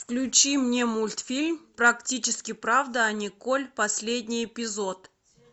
включи мне мультфильм практически правда о николь последний эпизод